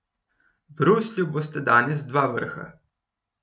V Bruslju bosta danes dva vrha.